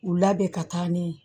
U labɛn ka taa ni ye